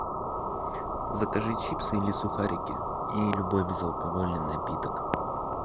закажи чипсы или сухарики и любой безалкогольный напиток